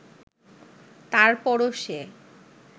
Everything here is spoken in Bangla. তারপরও সে